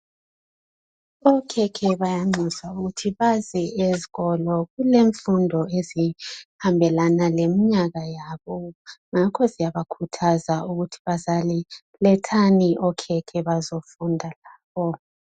Okhekhe bayanxuswa ukuthi baze esikolo kulemfundo ezihambelana leminyaka yabo ngakho siyabakhuthaza ukuthi bazali lethani okhekhe bazefunda.